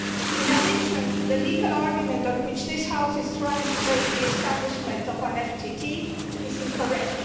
In addition, the legal argument on which this House is trying to base the establishment of an FTT is incorrect.